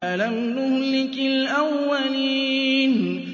أَلَمْ نُهْلِكِ الْأَوَّلِينَ